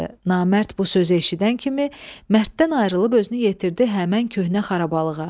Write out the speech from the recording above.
Namərd bu sözü eşidən kimi mərddən ayrılıb özünü yetirdi həmin köhnə xarabalıqa.